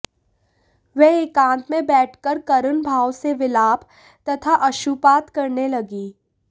वह एकांत में बैठकर करुण भाव से विलाप तथा अश्रुपात करने लगी